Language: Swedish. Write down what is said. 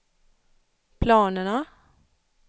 planerna